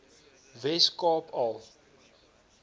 wes kaap al